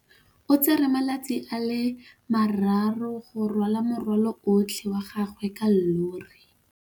O tsere malatsi a le marraro go rwala morwalo otlhe wa gagwe ka llori.